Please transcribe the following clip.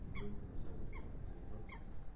не люблю на самом деле этим заниматься